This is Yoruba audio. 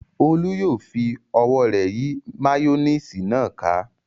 Olú yóò fi ọwọ́ rẹ̀ yí máyónísì náà ká.